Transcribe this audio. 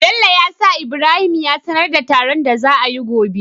Bello ya sa ibrahim ya sanar da taron da za ayi gobe